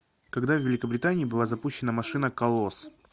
когда в великобритании была запущена машина колосс